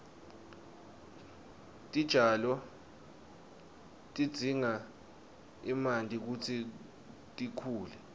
titjalo tidzinga emanti kutsi tikhule